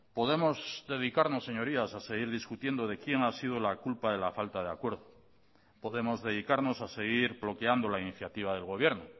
podemos dedicarnos señorías a seguir discutiendo de quién ha sido la culpa de la falta de acuerdo podemos dedicarnos a seguir bloqueando la iniciativa del gobierno